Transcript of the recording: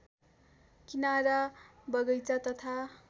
किनारा बगैंचा तथा